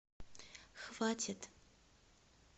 хватит